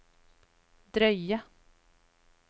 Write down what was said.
drøye